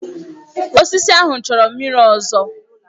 Osisi ahụ chọrọ mmiri ọzọ.